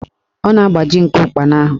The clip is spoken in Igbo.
Ọ na-agbaji nku ụkpana ahụ